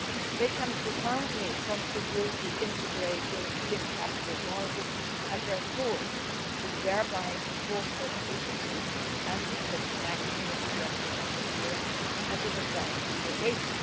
They can profoundly contribute to integrating European capital markets at their core, thereby fostering efficiency and the international attractiveness of Europe as an investment location.